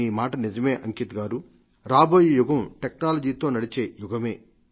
మీ మాట నియమే అంకిత్ జీ రాబోయే యుగం టెక్నాలజీతో నడిచే యుగమే